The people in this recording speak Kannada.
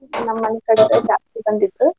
ನಮ್ಮ್ ಮನಿ ಕಡೆದವ್ರ್ ಜಾಸ್ತಿ ಬಂದಿದ್ರ.